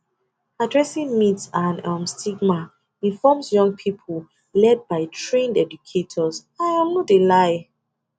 addressing myths and um stigma informs young pipo led by trained educators i um no de lie